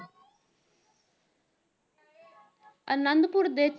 ਅਨੰਦਪੁਰ ਦੇ